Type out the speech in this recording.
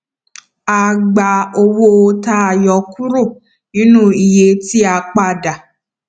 a gba owó tà a yọ ọ kúrò nínú iye tí a padà